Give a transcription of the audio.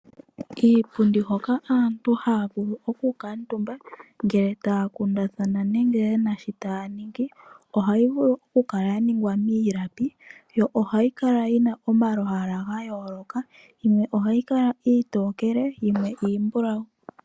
Iipundi hoka aantu haya vulu okukatumba ngele taya kundathana nenge yena shoka taya ningi, ohayi vulu okukala ya ningwa miilapi. Yo ohayi kala yi na omalwaala ga yooloka, yimwe ohayi kala iitokele, yimwe iimbulawu.